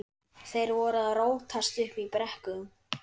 Þeir voru að rótast uppi í brekkum.